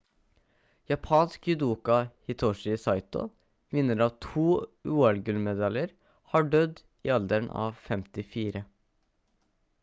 japansk judoka hitoshi saito vinner av to ol-gullmedaljer har dødd i alderen av 54